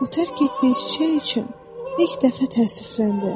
O tərk etdiyi çiçək üçün ilk dəfə təəssüfləndi.